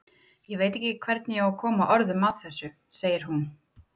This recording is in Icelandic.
Ég veit ekki hvernig ég á að koma orðum að þessu, segir hún.